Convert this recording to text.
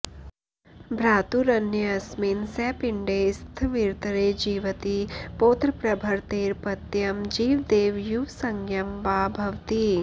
भ्रातुरन्यस्मिन् सपिण्डे स्थविरतरे जीवति पौत्रप्रभृतेरपत्यं जीवदेव युवसंज्ञम् वा भवति